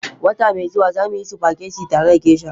Wata mai zuwa, za mu yi spaghetti tare da Geisha.